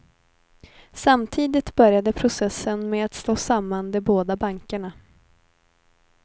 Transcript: Samtidigt började processen med att slå samman de båda bankerna.